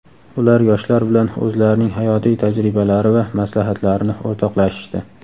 ular yoshlar bilan o‘zlarining hayotiy tajribalari va maslahatlarini o‘rtoqlashishdi.